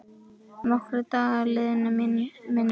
Nokkrir dagar liðu, minnir mig.